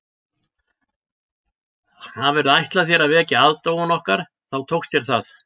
Hafirðu ætlað þér að vekja aðdáun okkar þá tókst þér það